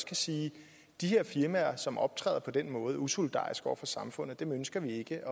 kan sige de her firmaer som optræder på den måde og er usolidariske over for samfundet ønsker vi ikke at